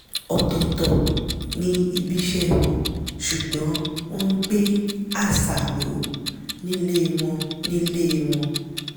ọ̀tọ̀tọ̀ ni ibiṣẹ́ wọn sùgbọ́n wọ́n gbé àṣà ró nílé wọ́n nílé wọ́n